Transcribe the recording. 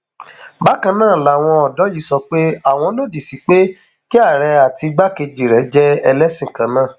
bákan náà làwọn ọdọ yìí sọ pé àwọn lòdì sí pé kí àárẹ àti igbákejì rẹ jẹ ẹlẹsìn kan náà